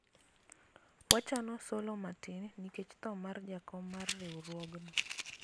wachano solo matin nikech tho mar jakom mar riwruogno